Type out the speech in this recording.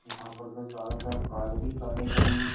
यहाँ पर तो चारों तरफ कारे ही कार्य कारे खड़ी हैं।